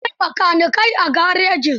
Akwai makanikai a garejin.